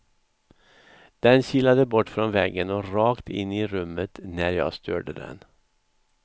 Den kilade bort från väggen och rakt in i rummet när jag störde den.